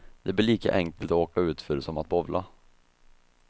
Det blir lika enkelt åka utför som att bowla.